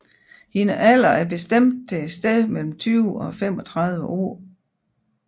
Hendes alder er bestemt til et sted mellem 20 og 35 år